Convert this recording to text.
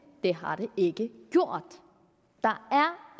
det har det ikke gjort der